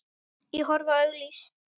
Ég horfi á auglýs